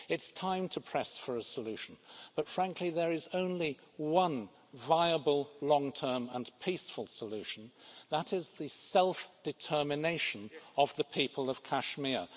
It's time to press for a solution, but frankly there is only one viable long term and peaceful solution and that is self determination for the people of Kashmir.